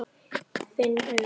Finn augun.